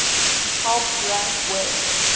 helps rank web